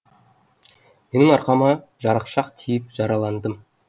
менің арқама жарықшақ тиіп жараландым